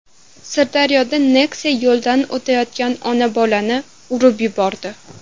Sirdaryoda Nexia yo‘ldan o‘tayotgan ona-bolani urib yubordi.